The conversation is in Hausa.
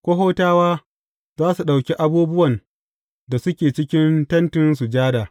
Kohatawa za su ɗauki abubuwan da suke cikin Tentin Sujada.